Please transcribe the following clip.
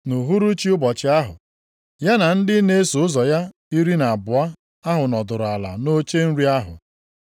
Nʼuhuruchi ụbọchị ahụ, ya na ndị na-eso ụzọ ya iri na abụọ ahụ nọdụrụ ala nʼoche nri ahụ.